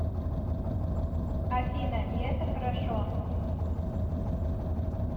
афина и это хорошо